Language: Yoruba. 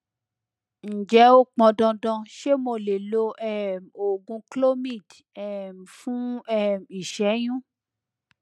ǹjẹ ó pọn dandan ṣé mo lè lo um oògùn clomid um fún um ìṣẹyún